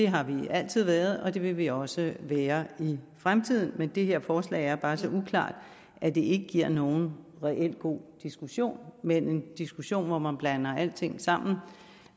har vi altid været og det vil vi også være i fremtiden men det her forslag er bare så uklart at det ikke giver nogen reelt god diskussion men en diskussion hvor man blander alting sammen